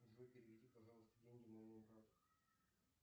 джой переведи пожалуйста деньги моему брату